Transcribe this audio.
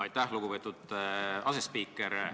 Aitäh, lugupeetud asespiiker!